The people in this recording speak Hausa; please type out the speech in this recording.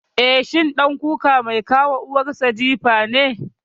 Eh, shi ɗan kuka mai ka wa uwar sa jifa ne.